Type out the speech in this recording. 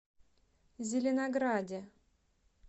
зеленограде